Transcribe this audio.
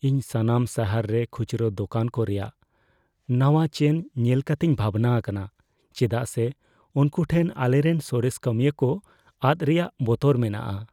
ᱤᱧ ᱥᱟᱱᱟᱢ ᱥᱟᱦᱟᱨ ᱨᱮ ᱠᱷᱩᱪᱨᱟᱹ ᱫᱚᱠᱟᱱ ᱠᱚ ᱨᱮᱭᱟᱜ ᱱᱟᱣᱟ ᱪᱮᱱ ᱧᱮᱞ ᱠᱟᱛᱮᱧ ᱵᱷᱟᱵᱽᱱᱟ ᱟᱠᱟᱱᱟ, ᱪᱮᱫᱟᱜ ᱥᱮ ᱩᱱᱠᱩ ᱴᱷᱮᱱ ᱟᱞᱮᱨᱮᱱ ᱥᱚᱨᱮᱥ ᱠᱟᱹᱢᱤᱭᱟᱹ ᱠᱚ ᱟᱫ ᱨᱮᱭᱟᱜ ᱵᱚᱛᱚᱨ ᱢᱮᱱᱟᱜᱼᱟ ᱾